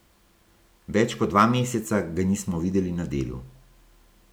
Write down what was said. Več kot dva meseca ga nismo videli na delu.